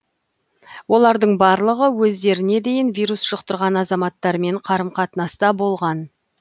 олардың барлығы өздеріне дейін вирус жұқтырған азаматтармен қарым қатынаста болған